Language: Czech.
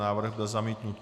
Návrh byl zamítnut.